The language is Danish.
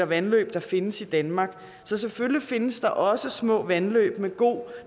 vandløb der findes i danmark så selvfølgelig findes der måske også små vandløb med god